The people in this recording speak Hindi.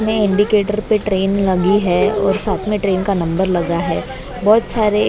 ने इंडिकेटर पे ट्रेन लगी है और साथ में ट्रेन का नंबर लगा है बहुत सारे--